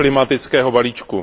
klimatického balíčku.